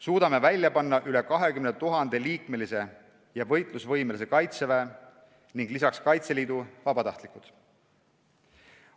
Suudame välja panna rohkem kui 20 000-liikmelise ja võitlusvõimelise Kaitseväe ning lisaks Kaitseliidu vabatahtlikud.